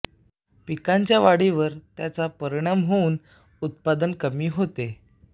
पिकांच्या वाढीवर त्याचा परिणाम होऊन उत्पादन कमी होते